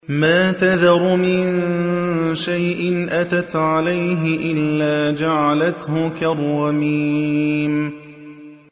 مَا تَذَرُ مِن شَيْءٍ أَتَتْ عَلَيْهِ إِلَّا جَعَلَتْهُ كَالرَّمِيمِ